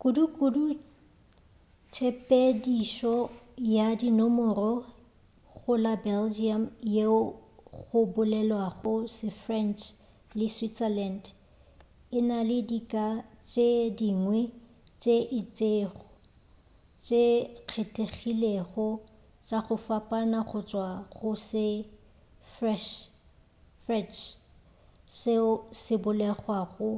kudu-kudu tshepedišo ya dinomoro go la belgium yeo go bolelwago se-french le switzerland e na le dika tše dingwe tše itšego tše kgethegilego tša go fapana go tšwa go se-freche seo se bolelwago